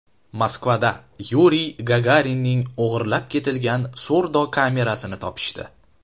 Moskvada Yuriy Gagarinning o‘g‘irlab ketilgan surdokamerasini topishdi.